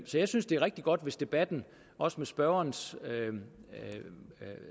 så jeg synes det er rigtig godt hvis debatten også med spørgerens